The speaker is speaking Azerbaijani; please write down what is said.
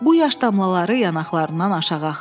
Bu yaş damlaları yanaqlarından aşağı axırdı.